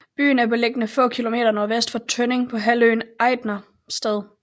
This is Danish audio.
Byen er beliggende få kilometer nordvest for Tønning på halvøen Ejdersted